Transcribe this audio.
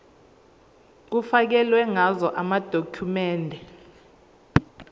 kufakelwe ngazo amadokhumende